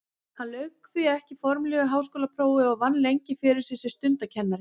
Hann lauk því ekki formlegu háskólaprófi en vann lengi fyrir sér sem stundakennari.